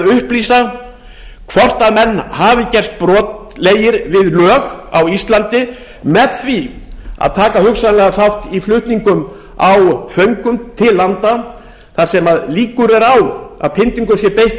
reyna að upplýsa hvort menn hafi gerst brotlegir við lög á íslandi með því að taka hugsanlega þátt í flutningum á föngum til landa þar sem líkur eru á að pyndingum sé beitt við